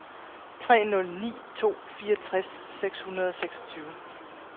tre nul ni to fireogtres seks hundrede og seksogtyve